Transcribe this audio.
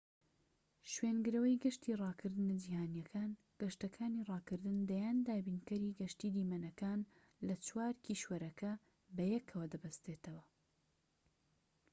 شوێنگرەوەی گەشتی ڕاکردنە جیهانییەکان گەشتەکانی ڕاكردن دەیان دابینکەری گەشتی دیمەنەکان لە چوار کیشوەرەکە بەیەکەوە دەبەستێتەوە